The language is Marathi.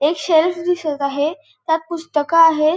एक शेल्फ दिसत आहे. त्यात पुस्तक आहेत.